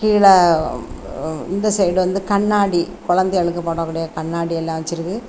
கீழ ம்ம் இந்த சைடு வந்து கண்ணாடி குழந்தைகளுக்கு கண்ணாடி எல்லா வெச்சி இருக்கு.